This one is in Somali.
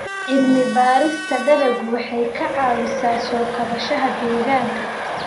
Cilmi-baarista dalaggu waxay caawisaa soo kabashada deegaanka.